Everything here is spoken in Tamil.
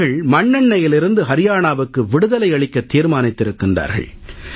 அவர்கள் மண்ணெண்ணையிலிருந்து அரியானாவுக்கு விடுதலை அளிக்கத் தீர்மானித்திருக்கிறார்கள்